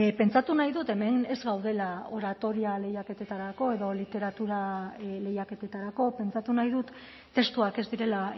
pentsatu nahi dut hemen ez gaudela oratoria lehiaketetarako edo literatura lehiaketetarako pentsatu nahi dut testuak ez direla